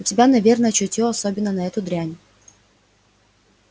у тебя наверное чутье особенно на эту дрянь